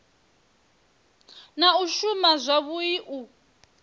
na u shuma zwavhui u